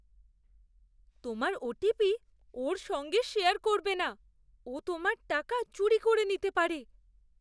তোমার ওটিপি ওর সঙ্গে শেয়ার করবে না। ও তোমার টাকা চুরি করে নিতে পারে।